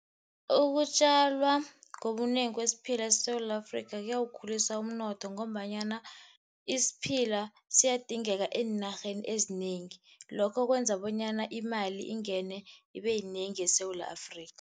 Ukutjalwa ngobunengi kwesiphila eSewula Afrika ziyawukhulisa umnotho ngombanyana isiphila siyadingeka eenarheni ezinengi. Lokho kwenza bonyana imali ingene, ibe yinengi eSewula Afrika.